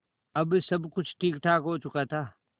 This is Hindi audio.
अब सब कुछ ठीकठाक हो चुका था